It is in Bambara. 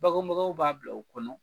Bagenbagaw b'a bila u kɔnɔ